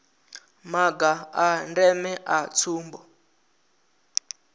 maga a ndeme a tsumbo